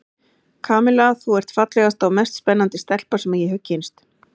Kamilla, þú ert fallegasta og mest spennandi stelpa sem ég hef kynnst.